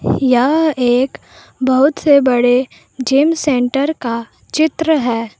यह एक बहुत से बड़े जिम सेंटर का चित्र है।